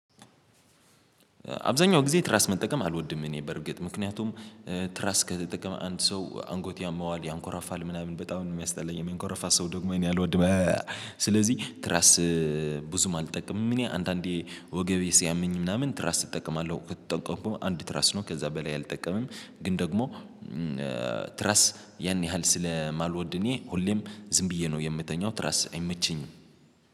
አብዛኛው ጊዜ ትራስ መጠቀም አልወድም እኔ በርግጥ ምክንያቱም ትራስ ከተጠቀመ አንድ ሰው አንጎቱ ያመዋል ያንኮራፋል ምናምን በጣም የሚያስጠላኝ የሚንኮራፋ ሰው ደግሞ እኔ አልወድም። ስለዚህ ትራስ ብዙም አልጠቀምም። እኔ አንዳንዴ ወገቤ ሲያመኝ ምናምን ትራስ እጠቀማለሁ ከተጠቀምኩም አንድ ትራስ ነው ከዛ በላይ አልጠቀምም። ግን ደግሞ ትራስ ያን ያህል ስለማልወድ እኔ ሁሌም ዝም ብዬ ነው የምተኛው ትራስ አይመቸኝም።